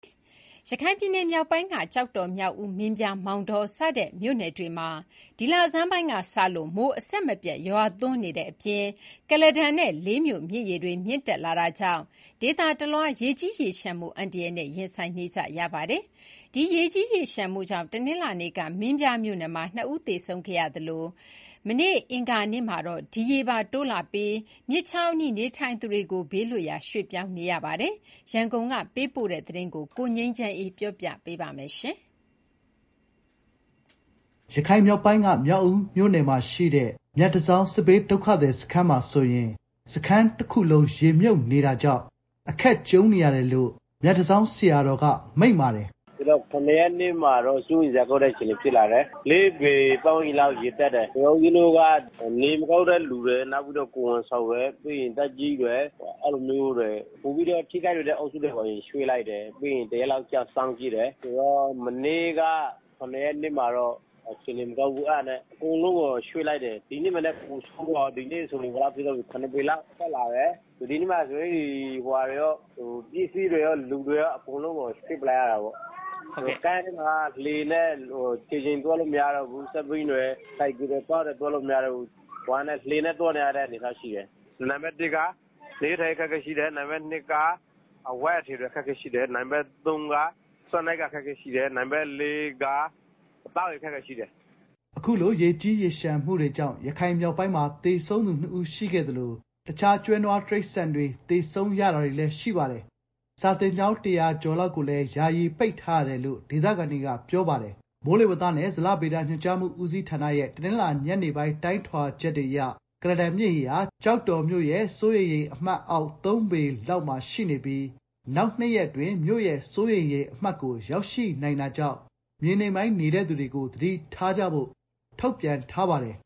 ရခိုင်ပြည်နယ်မြောက်ပိုင်းက ကျောက်တော်၊ မြောက်ဦး၊ မင်းပြား၊ မောင်တော စတဲ့ မြို့နယ်တွေ မှာ ဒီလဆန်းပိုင်းကစလို့ မိုးအဆက်မပြတ်ရွာသွန်းနေပြီး ကုလားတန်နဲ့ လေးမြို့ မြစ်ရေတွေ မြင့်တက်လာတာကြောင့် ဒေသတလွှား ရေကြီးရေလျှံမှုအန္တရာယ်နဲ့ ရင်ဆိုင်နေကြရပါတယ်။ ဒီရေကြီးရေလျှံမှုကြောင့် တနင်္လာနေ့က မင်းပြားမြို့နယ်မှာ ၂ ဦး သေဆုံးခဲ့ရသလို မနေ့ အင်္ဂါနေ့မှာတော့ ဒီရေပါတိုးလာပြီး မြစ်ချောင်းအနီးနေထိုင်သူတွေ ဘေးလွတ်ရာ ရွှေ့ပြောင်းနေရပါတယ်။ ရန်ကုန်က ပေးပို့တဲ့သတင်းကို ကိုငြိမ်းချမ်းအေးက တင်ပြပေးထားပါတယ်။ မြောက်ဦးမြို့နယ်မှာရှိတဲ့ မြတ်တန်ဆောင်း စစ်ဘေးဒုက္ခသည်စခန်းဆိုရင် စခန်းတခုလုံး ရေမြုပ်နေတာကြောင့် အခက်ကြုံနေရတယ်လို့ မြတ်တန်ဆောင်းဆရာတော်က မိန့်ပါတယ်။ " ၇ ရက်နေ့မှာတော့ တော်တော်စိုးရိမ်စရာကောင်းတဲ့ အခြေအနေဖြစ်လာတယ်။ ၄ ပေ ပတ်ဝန်းကျင်လောက် ရေတက်တယ်။... ဆိုတော့ ဦးဇင်းတို့က နေမကောင်းတဲ့သူတွေ၊ ကိုယ်ဝန်ဆောင်တွေ၊ ပြီးတော့ သက်ကြီးတွေ အဲလိုမျိုးတွေ ပိုပြီးတော့ထိခိုက်လွယ်တဲ့အုပ်စုတွေကို ရွှေ့လိုက်တယ်။ ပြီးတော့ တရက်လောက် စောင့်ကြည့်တယ်။ မနေ့က ၇ ရက်နေ့မှာတော့ အခြေအနေမကောင်းဘူးဆိုပြီး အကုန်လုံးကို ရွှေ့လိုက်တယ်။ ဒီနေ့က ပိုဆိုးလာတယ်။ ၇ ပေလောက်အထိရေတက်လာတယ်။ ဒီနေ့မှာ ပစ္စည်းတွေရော၊ လူတွေရော အကုန်လုံးကို ရွှေ့လိုက်ရတာပေါ့။ ကမ့်ထဲမှာတော့ ခြေထောက်နဲ့ သွားလို့မရတော့ဘူး။ ကားတွေ၊ ဆိုင်ကယ်တွေ သွားလို့မရတော့ဘူး။ လှေနဲ့သွားနေကြရတယ်။ နေရေးထိုင်ရေး အခက်ခဲရှိတယ်။ စားဝတ်နေရေး အခက်အခဲရှိတယ်။ အဝတ်အထည်တွေ လိုတယ်။ နောက်တခုကတော့ သောက်ရေ အခက်အခဲရှိပါတယ်။" အခုလို ရေကြီးရေလျှံမှုတွေကြောင့် ရခိုင်မြောက်ပိုင်းမှာ သေဆုံးသူနှစ်ဦးရှိသလို တခြား ကျွဲ၊ နွားတိရစ္ဆာန်တွေသေဆုံးတာတွေနဲ့ စာသင်ကျောင်း ၁ဝဝ ကျော်လောက်ကိုလည်း ယာယီပိတ်ထားရတယ်လို့ ဒေသခံတွေ ပြောဆိုကြပါတယ်။ မိုးလေဝသနဲ့ ဇလဗေဒညွှန်ကြားမှု ဦးစီးဌာနရဲ့ တနင်္လာ ညနေပိုင်း တိုင်းထွာချက်တွေအရ ကုလားတန်မြစ်ရေဟာ ကျောက်တော်မြို့ရဲ့ စိုးရိမ်ရေအမှတ်အောက် ၃ ပေခန့်မှာ ရောက်ရှိနေပြီး နောက် ၂ ရက်အတွင်း မြို့ရဲ့ စိုးရိမ်ရေအမှတ်ကို ရောက်ရှိနိုင်တာကြောင့် မြေနိမ့်ပိုင်းနေသူတွေ သတိထားကြဖို့ ထုတ်ပြန်ထားပါတယ်